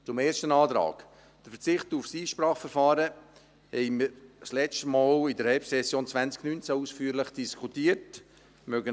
Zum ersten Antrag: Der Verzicht auf das Einspracheverfahren diskutierten wir letztmals ausführlich in der Herbstsession 2019.